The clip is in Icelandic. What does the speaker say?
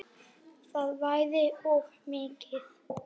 Það væri of mikið.